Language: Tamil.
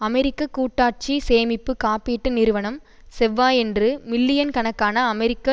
அமெரிக்க கூட்டாட்சி சேமிப்பு காப்பீட்டு நிறுவனம் செவ்வாயன்று மில்லியன் கணக்கான அமெரிக்க